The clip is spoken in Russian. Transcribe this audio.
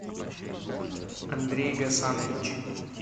андрей гасанович